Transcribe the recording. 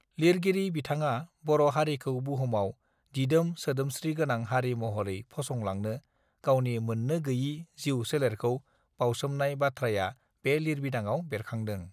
लिरगिरि बिथाङा बर हारिखौ बुहुमाव दिदोम सोदोमस्रि गोनां हारि महरै फसंलांनो गावनि मोननो गैयि जिउ सोलेरखौ बाउसोमनाय बाथ्राया बे लिरबिदांआव बेरखांदों